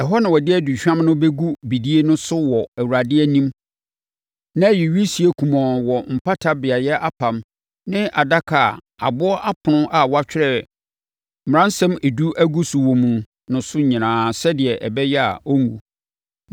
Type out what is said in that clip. Ɛhɔ na ɔde aduhwam no bɛgu bidie no so wɔ Awurade anim na ayi wisie kumɔnn wɔ mpata beaeɛ apam ne adaka (a aboɔ apono a wɔatwerɛ Mmaransɛm Edu agu so wɔ mu) no so nyinaa sɛdeɛ ɛbɛyɛ a ɔrenwu.